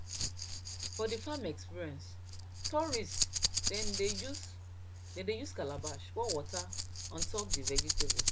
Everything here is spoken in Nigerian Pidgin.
for the farm experience tourists dem dey use dem dey use calabash pour water on top d vegetables